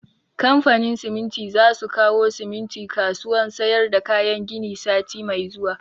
Kamfanin siminti za su kawo siminti kasuwan sayar da kayan gini sati mai zuwa